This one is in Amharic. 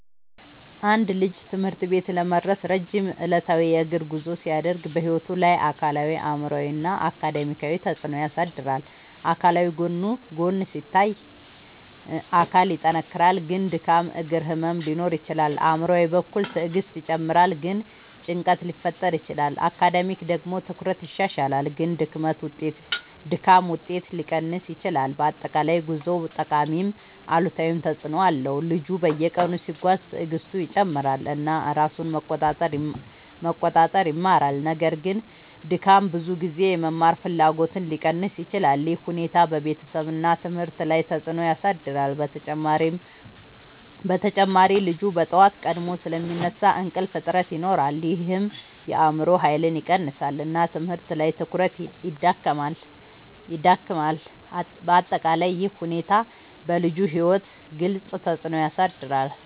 አንድ ልጅ ትምህርት ቤት ለመድረስ ረጅም ዕለታዊ የእግር ጉዞ ሲያደርግ በሕይወቱ ላይ አካላዊ አእምሯዊ እና አካዳሚያዊ ተፅዕኖ ያሳድራል። አካላዊ ጎን ሲታይ አካል ይጠናከራል ግን ድካም እግር ህመም ሊኖር ይችላል። አእምሯዊ በኩል ትዕግስት ይጨምራል ግን ጭንቀት ሊፈጠር ይችላል። አካዳሚያዊ ደግሞ ትኩረት ይሻሻላል ግን ድካም ውጤት ሊቀንስ ይችላል። በአጠቃላይ ጉዞው ጠቃሚም አሉታዊም ተፅዕኖ አለው። ልጁ በየቀኑ ሲጓዝ ትዕግስቱ ይጨምራል እና ራሱን መቆጣጠር ይማራል። ነገር ግን ድካም ብዙ ጊዜ የመማር ፍላጎትን ሊቀንስ ይችላል። ይህ ሁኔታ በቤተሰብ እና ትምህርት ላይ ተጽዕኖ ያሳድራል። በተጨማሪ ልጁ በጠዋት ቀድሞ ስለሚነሳ እንቅልፍ እጥረት ይኖራል ይህም የአእምሮ ኃይልን ይቀንሳል እና ትምህርት ላይ ትኩረት ይዳክማል። በአጠቃላይ ይህ ሁኔታ በልጁ ሕይወት ግልጽ ተፅዕኖ ያሳድራል።